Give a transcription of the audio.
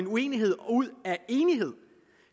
uenighed ud af enighed